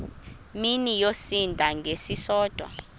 mini yosinda ngesisodwa